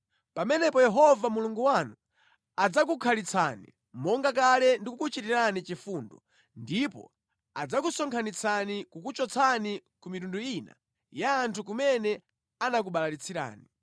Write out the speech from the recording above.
pamenepo Yehova Mulungu wanu adzakukhalitsani monga kale ndi kukuchitirani chifundo, ndipo adzakusonkhanitsani kukuchotsani ku mitundu ina ya anthu kumene anakubalalitsirani.